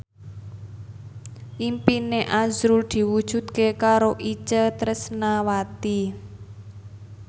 impine azrul diwujudke karo Itje Tresnawati